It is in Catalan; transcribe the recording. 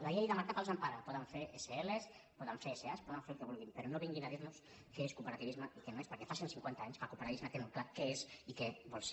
la llei de mercat els empara poden fer sl poden fer sa poden fer el que vulguin però no vinguin a dir nos què és cooperativisme i què no ho és perquè fa cent cinquanta anys que el cooperativisme té molt clar què és i què vol ser